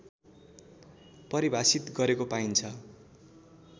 परिभाषित गरेको पाइन्छ